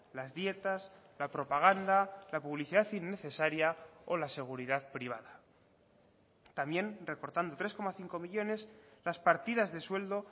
las dietas la propaganda la publicidad innecesaria o la seguridad privada también recortando tres coma cinco millónes las partidas de sueldo